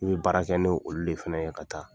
N bɛ baara kɛ n'olu de fana ye ka taa.